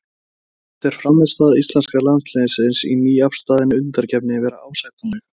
Fannst þér frammistaða íslenska landsliðsins í nýafstaðni undankeppni vera ásættanleg?